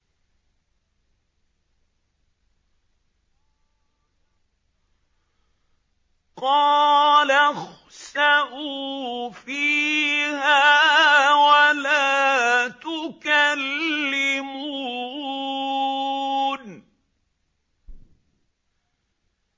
قَالَ اخْسَئُوا فِيهَا وَلَا تُكَلِّمُونِ